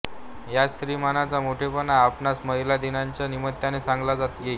हाच स्त्री मनाचा मोठेपणा आपणास महिला दिनाच्या निमित्ताने सांगता येईल